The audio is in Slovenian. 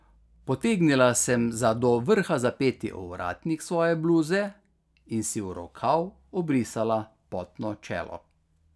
Potegnila sem za do vrha zapeti ovratnik svoje bluze in si v rokav obrisala potno čelo.